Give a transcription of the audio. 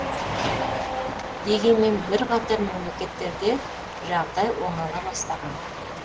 дегенмен бірқатар мемлекеттерде жағдай оңала бастаған